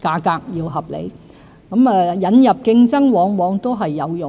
價格合理。引入競爭往往是有用的。